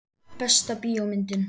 Besta bíómyndin?